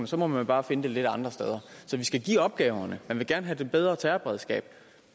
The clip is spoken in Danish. så må man bare finde det lidt andre steder så vi skal stille opgaverne man vil gerne have et bedre terrorberedskab